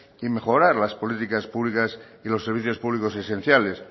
y mejorar las políticas públicas y los servicios públicos esenciales